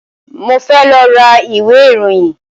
Mo fẹ́ lọ ra ìwé ìròyìn